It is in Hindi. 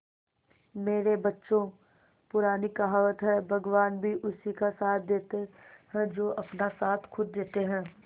मेरे बच्चों पुरानी कहावत है भगवान भी उसी का साथ देते है जो अपना साथ खुद देते है